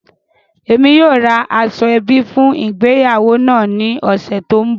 Emi yóò ra aṣoẹbi fun ìgbéyàwó naa ni ọsẹ to nbọ.